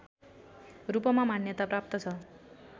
रूपमा मान्यता प्राप्त छ